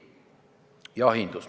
Jahindus.